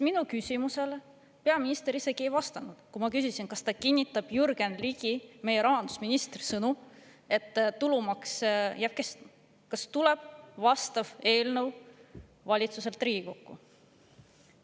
Minu küsimusele peaminister isegi ei vastanud, kui ma küsisin, kas ta kinnitab Jürgen Ligi, meie rahandusministri sõnu, et tulumaks jääb kestma, ja kas tuleb vastav eelnõu valitsuselt Riigikokku.